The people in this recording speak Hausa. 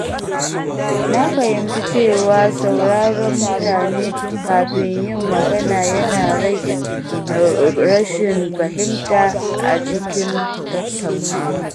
Na fahimci cewa sauraron mutane kafin yin magana yana rage rashin fahimta a cikin tattaunawa.